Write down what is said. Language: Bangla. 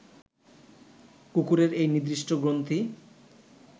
কুকুরের এই নির্দিষ্ট গ্রন্থি